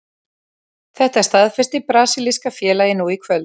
Þetta staðfesti brasilíska félagið nú í kvöld.